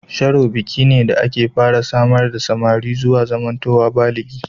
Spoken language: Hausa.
Sharo biki ne da ake fara samar da samari zuwa zamantowa baligi.